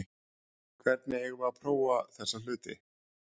Hvernig eigum við að prófa þessa hluti?